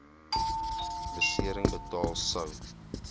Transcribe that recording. besering betaal sou